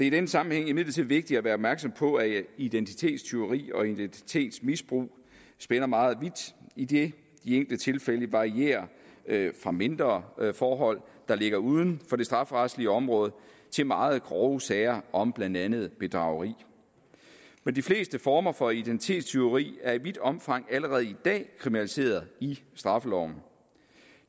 i den sammenhæng vigtigt at være opmærksom på at identitetstyveri og identitetsmisbrug spænder meget vidt idet de enkelte tilfælde varierer fra mindre forhold der ligger uden for det strafferetlige område til meget grove sager om blandt andet bedrageri men de fleste former for identitetstyveri er i vidt omfang allerede i dag kriminaliseret i straffeloven